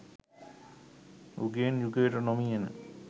යුගයෙන් යුගයට නොමියෙන